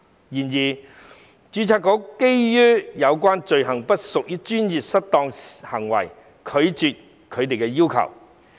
然而，註冊局基於有關罪行不屬專業失當行為，拒絕他們的要求。